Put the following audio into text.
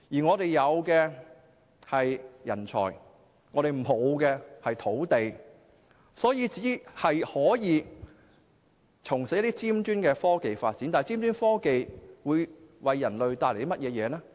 我們有人才但沒有土地，所以只可從事一些尖端科技發展，但尖端科技會為人類帶來甚麼好處？